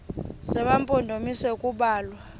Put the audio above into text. zema mpondomise kubalwa